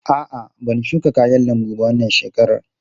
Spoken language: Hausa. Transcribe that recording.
A'a, ban shuka kayan lambu ba wannan shekarar.